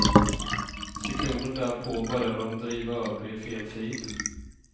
Sekunden därpå började de driva över i fel fil.